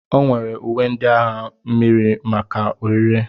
O nwere uwe ndị agha mmiri maka ọrịre.